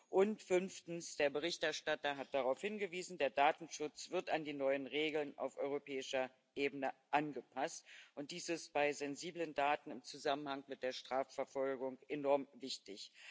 Und fünftens der Berichterstatter hat darauf hingewiesen Der Datenschutz wird an die neuen Regeln auf europäischer Ebene angepasst, und dies ist bei sensiblen Daten im Zusammenhang mit der Strafverfolgung enorm wichtig.